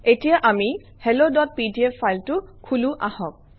এতিয়া আমি helloপিডিএফ ফাইলটো খোলোঁ আহক